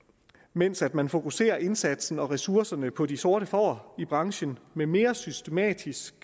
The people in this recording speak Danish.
mens man fokuserer indsatsen og ressourcerne på de sorte får i branchen med mere systematisk